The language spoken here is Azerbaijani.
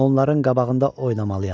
Onların qabağında oynamalıyam.